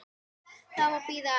Það má bíða aðeins.